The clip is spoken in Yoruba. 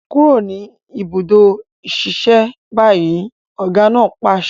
Kúrò ní ìbùdó ìṣiṣẹ́ báyìí! ọ̀gá náà pàṣẹ.